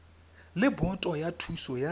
le boto ya thuso ya